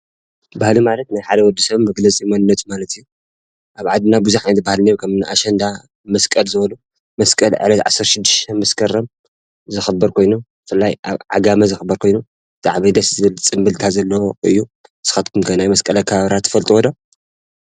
ባህሊ ማለት ናይ ሓደ ወደ ሰብ መግለፂ መንነት ማለት እዩ። አብ ዓደና ቡዝሕ ዓይነታት ባህሊ እኒህው ከምኒ አሸንዳ መሰቀል ዝበሉ መስቀል ዕለት 16 መሰከረም ዝክበር ኮይኑ ብፍላይ አብ ዓጋመ ዝክበር ኮይኑ ብጣዕሚ ደስ ዝብል ፅምብልታ ዘለዎ እዩ። ንስካትኩም ከ ናይ መስቀል አክባብራ ትፈልጡዎ ዶ?